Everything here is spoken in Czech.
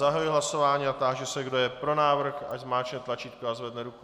Zahajuji hlasování a táži se, kdo je pro návrh, ať zmáčkne tlačítko a zvedne ruku.